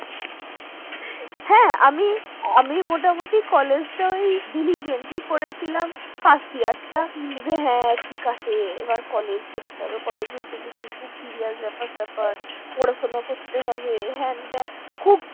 আমি মানে college টা daily করেছিলাম ওই first year college উঠে গেছে খুব serious ব্যাপার স্যাপার পড়াশোনা করতে হবে হেনতেন খুব